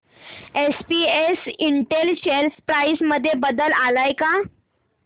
SPS Intel share price मध्ये बदल आलाय का